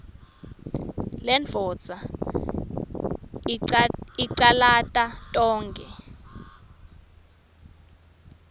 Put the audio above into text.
lendvodza icalate tonkhe